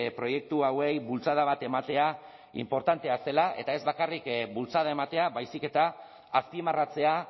proiektu hauei bultzada bat ematea inportantea zela eta ez bakarrik bultzada ematea baizik eta azpimarratzea